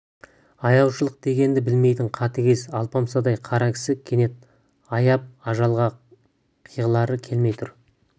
аяушылық дегенді білмейтін қатыгез алпамсадай қара кісі кенет аяп ажалға қиғылары келмей тұр